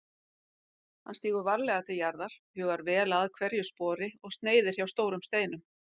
Hann stígur varlega til jarðar, hugar vel að hverju spori og sneiðir hjá stórum steinum.